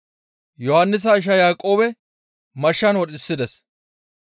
Yohannisa isha Yaaqoobe mashshan wodhisides.